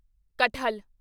ਕਟਹਲ